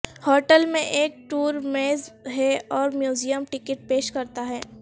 hotel میں ایک tour میز ہے اور میوزیم ٹکٹ پیش کرتا ہے